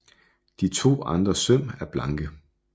De to andre søm er blanke